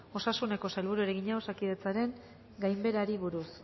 osasuneko sailburuari egina osakidetzaren gainbeherari buruz